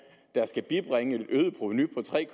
der skal bibringe et øget provenu på tre